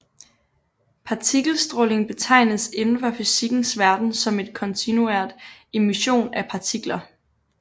Partikelstråling betegnes inden for fysikkens verden som en kontinuert emission af partikler